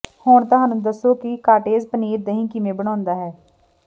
ਹੁਣ ਤੁਹਾਨੂੰ ਦੱਸੋ ਕਿ ਕਾਟੇਜ ਪਨੀਰ ਦਹੀਂ ਕਿਵੇਂ ਬਣਾਉਣਾ ਹੈ